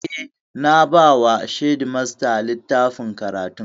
Eh, na ba wa shedimasta littafin karatun